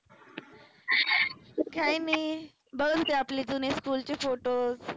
काही नाही, बघत होते आपले जुने school चे photos